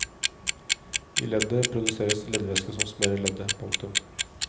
I leddet produseres leddvæske som smører leddet. punktum